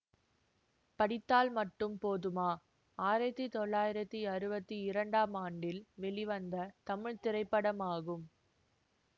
படித்தால் மட்டும் போதுமா ஆயிரத்தி தொள்ளாயிரத்தி அறுபத்தி இரண்டாம் ஆண்டில் வெளிவந்த தமிழ் திரைப்படம் ஆகும்